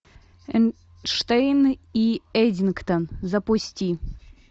эйнштейн и эддингтон запусти